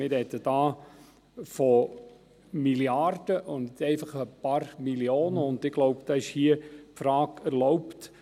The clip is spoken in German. Wir sprechen hier von Milliarden, nicht einfach von ein paar Millionen, und ich glaube, die Frage ist hier erlaubt: